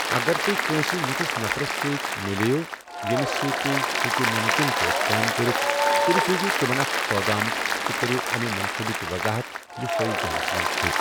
اگر تُہۍ کٲنٛسہِ یِتھِس نفرَس سۭتۍ مِلے یِو ییٚمِس سۭتۍ تُہۍ ہٮ۪کِو مُمکِن پٲٹھۍ کٲم کٔرِتھ، تیٚلہِ سوٗزِو تِمن اکھ پٲغام تہٕ کٔرِو اَمہِ منصوٗبٕچ وضاحت یُس تۄہہِ ذہنَس منٛز چھُو۔